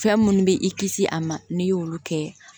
Fɛn munnu be i kisi a ma n'i y'olu kɛ